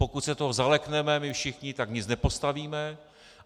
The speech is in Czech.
Pokud se toho zalekneme my všichni, tak nic nepostavíme.